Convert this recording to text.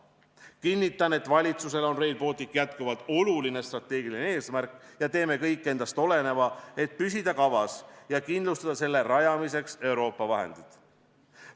Kinnitan, et valitsusele on Rail Baltic jätkuvalt oluline strateegiline eesmärk ja me teeme kõik endast oleneva, et püsida kavas ja kindlustada Rail Balticu rajamiseks Euroopa vahendeid.